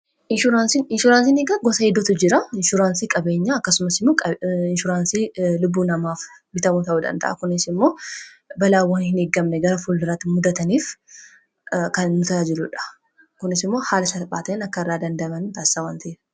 Inshuraansiini gosa hidduutu jira. Inshuraansii qabeenya, akkasumas inshuraansii lubbuu namaaf bitamuu ta'u danda'a. Kunis immoo balaawwan hin eegamne gara fulduraatti muddataniif kan nu tajaajiludha. Kunis immoo haala salphaa ta'een akka irraa dandamanu nu taasisa waan ta'eef.